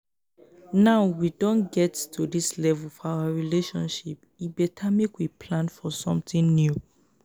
now we don get to dis level for our relationship e beta make we plan for something new.